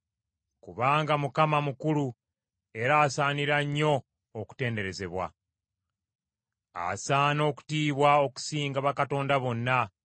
Kubanga Mukama mukulu era asaanira nnyo okutenderezebwa; asaana okutiibwa okusinga bakatonda bonna.